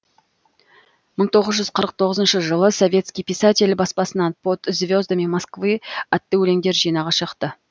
мың тоғыз жүз қырық тоғызыншы жылы советский писатель баспасынан под звездами москвы атты өлеңдер жинағы шықты